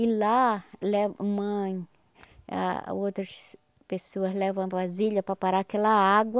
E lá le mãe ah e outras pessoas levam a vasilha para parar aquela água.